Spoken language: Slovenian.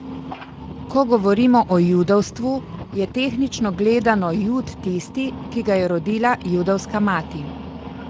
Ko govorimo o judovstvu, je tehnično gledano Jud tisti, ki ga je rodila judovska mati.